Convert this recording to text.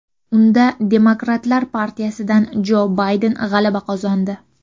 Unda Demokratlar partiyasidan Jo Bayden g‘alaba qozondi.